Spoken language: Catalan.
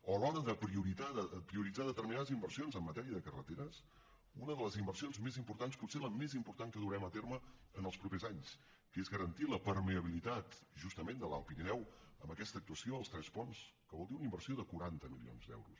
o a l’hora de prioritzar determinades inversions en matèria de carreteres una de les inversions més importants potser la més important que durem a terme en els propers anys que és garantir la permeabilitat justament de l’alt pirineu amb aquesta actuació a tres ponts que vol dir una inversió de quaranta milions d’euros